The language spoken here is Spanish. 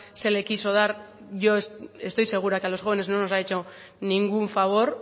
se le quiso dar yo estoy segura que los jóvenes no nos ha hecho ningún favor